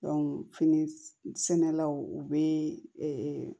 fini sɛnɛlaw u bɛ